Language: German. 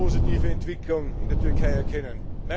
keine positive Entwicklung in der Türkei erkennen.